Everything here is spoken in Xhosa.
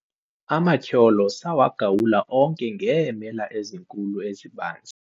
amatyholo sawagawula onke ngeemela ezinkulu ezibanzi